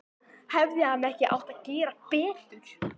Hefði hann ekki átt að gera betur?